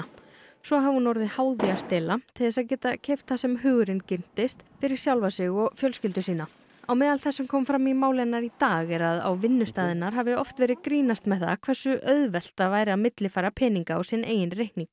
svo hafi hún orðið háð því að stela til þess að geta keypt það sem hugurinn girntist fyrir sjálfa sig og fjölskyldu sína á meðal þess sem kom fram í máli hennar í dag er að á vinnustað hennar hafi oft verið grínast með hversu auðvelt það væri að millifæra peninga á sinn eigin reikning